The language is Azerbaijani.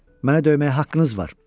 Mənə döyməyə haqqınız var.